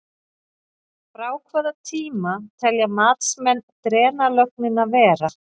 Frá hvaða tíma telja matsmenn drenlögnina vera?